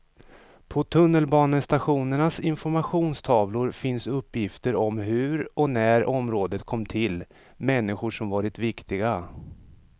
På tunnelbanestationernas informationstavlor finns uppgifter om hur och när området kom till, människor som varit viktiga.